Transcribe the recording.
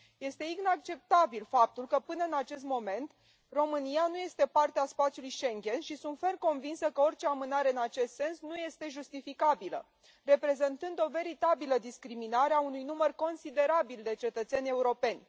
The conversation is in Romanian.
Este inacceptabil faptul că până în acest moment România nu este parte a spațiului Schengen și sunt ferm convinsă că orice amânare în acest sens nu este justificabilă, reprezentând o veritabilă discriminare a unui număr considerabil de cetățeni europeni.